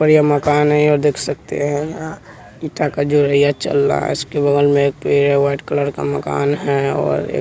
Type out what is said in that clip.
और ये मकान है और देख सकते हैं इंटा का जुड़ैया चल रहा है उसके बगल में एक पेड़ है वाइट कलर का मकान है और एक--